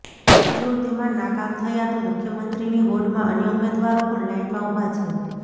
જો તેમાં નાકામ થયા તો મુખ્યમંત્રીની હોડમાં અન્ય ઉમેદવારો પણ લાઇનમાં ઉભા છે